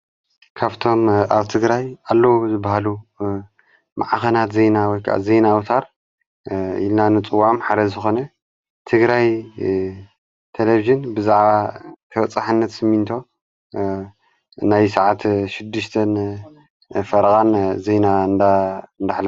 ካብቶም ኣብ ትግራይ ኣለዉ ዝበሃሉ መዓኸናት ዘይናወ ዘይናኣውታር ኢልናንጽዋም ሓደ ዝኾነ ትግራይ ተለብዜን ብዛዕባ ተወፀሓነት ስሚንቶ ናይ ሰዓት እንዳኀለፈ ፈረቓን ዘይና እንዳ እንዳኀለ